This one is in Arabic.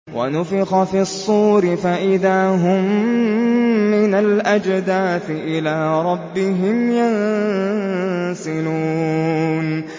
وَنُفِخَ فِي الصُّورِ فَإِذَا هُم مِّنَ الْأَجْدَاثِ إِلَىٰ رَبِّهِمْ يَنسِلُونَ